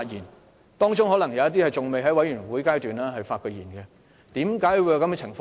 他們當中可能有人未曾在全體委員會發言，為何有這種情況呢？